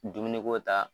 Dumuni ko ta